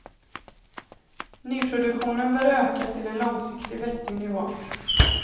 Nyproduktionen bör öka till en långsiktigt vettig nivå.